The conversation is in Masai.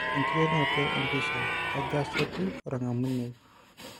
Enkiterunoto e pisha, kaja sa etiu orng'amuniei.